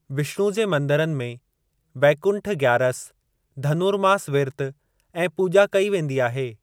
विष्‍णु जे मंदिरनि में, वैकुंठ ग्‍यारस धनुरमास विर्त ऐं पूॼा कई वेंदी आहे।